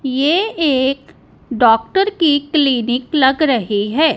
यह एक डॉक्टर की क्लीनिक लग रही है।